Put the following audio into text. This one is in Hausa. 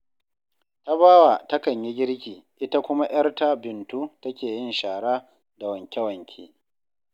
Tabawa takan yi girki, ita kuma 'yarta Bintu take yin shara da wanke-wanke